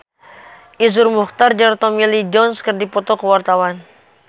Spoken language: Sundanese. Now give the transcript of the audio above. Iszur Muchtar jeung Tommy Lee Jones keur dipoto ku wartawan